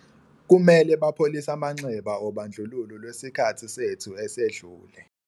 Kumele bapholise amanxeba obandlululo lwesikhathi sethu esedlule.